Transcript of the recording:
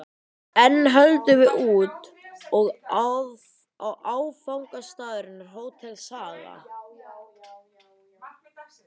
Enn höldum við út, og áfangastaðurinn er Hótel Saga.